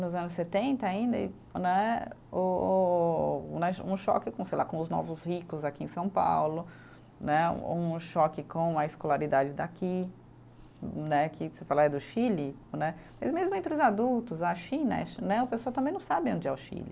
nos anos setenta ainda e né, o o né, um choque com sei lá, com os novos ricos aqui em São Paulo né, um choque com a escolaridade daqui né, que você fala é do Chile né, mas mesmo entre os adultos, a China né, o pessoal também não sabe onde é o Chile.